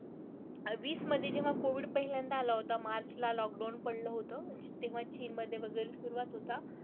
वीसमध्ये जेव्हा कोविड पहिल्यांदा आला होता, मार्चला लॉकडाउन पडलं होतं तेव्हा चीनमध्ये वगैरे सुरुवात होता.